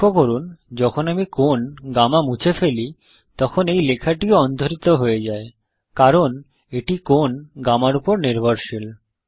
লক্ষ্য করুন যখন আমি কোণ গামা মুছে ফেলি তখন এই লেখাটিও অন্তর্হিত হয়ে যায় কারণ এটি কোণ গামার উপর নির্ভরশীল